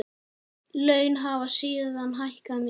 Laun hafa síðan hækkað mikið.